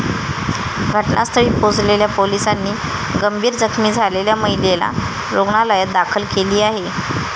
घटनास्थळी पोहोचलेल्या पोलिसांनी गंभीर जखमी झालेल्या महिलेला रुग्णालयात दाखल केली आहे.